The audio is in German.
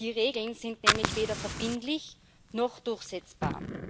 Die Regeln sind nämlich weder verbindlich noch durchsetzbar.